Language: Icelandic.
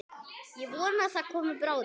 Ég vona það komi bráðum.